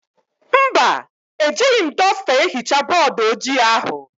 Mba, ejighi m dọsta ehichaa bọọdụ ojii ahụ.